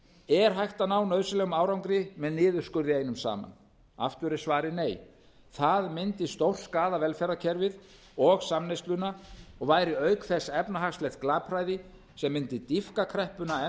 er hægt að ná nauðsynlegum árangri með niðurskurði einum saman aftur er svarið nei það myndi stórskaða velferðarkerfið og samneysluna og væri auk þess efnahagslegt glapræði sem mundi dýpka kreppuna enn